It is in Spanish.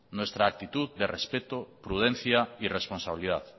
nuestra actitud de respeto prudencia y responsabilidad